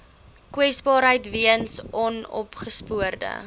kwesbaarheid weens onopgespoorde